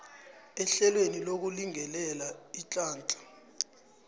ehlelweni lokulingelela iinhlahla